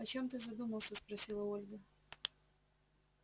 о чем ты задумался спросила ольга